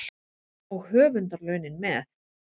Og höfundarlaunin með.